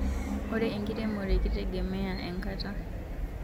Ore inkeremore kitegemea enkata